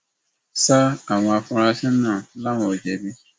sa àwọn afurasí náà làwọn ò jẹbi